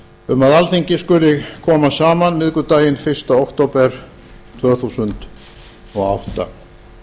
um að alþingi skuli koma saman mánudaginn fyrsta október tvö